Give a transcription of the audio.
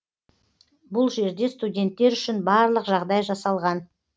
бұл жерде студенттер үшін барлық жағдай жасалған